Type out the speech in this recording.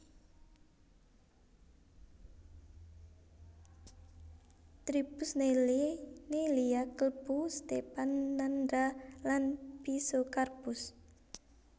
Tribus Neillieae Neillia klebu Stephanandra lan Physocarpus